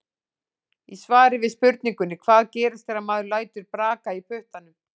Í svari við spurningunni Hvað gerist þegar maður lætur braka í puttunum?